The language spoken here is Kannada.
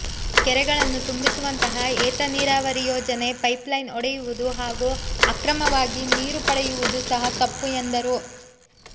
ಕೆರೆಗಳನ್ನು ತುಂಬಿಸುವಂತಹ ಏತ ನೀರಾವರಿ ಯೋಜನೆ ಪೈಪ್ ಲೈನ್ ಒಡೆಯುವುದು ಹಾಗೂ ಅಕ್ರಮವಾಗಿ ನೀರು ಪಡೆಯುವುದು ಸಹ ತಪ್ಪು ಎಂದರು